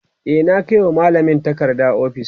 e na Kai wa mallamin takarda ofis